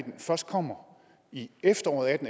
først kommer i efteråret